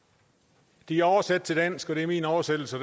de er oversat til dansk og det er min oversættelse